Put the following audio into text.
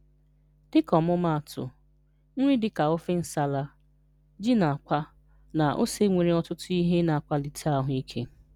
Dịka ọmụmaatụ, nri dị ka ofe nsala, ji na àkwá, na ose nwere ọtụtụ ihe na-akwalite ahụ ike.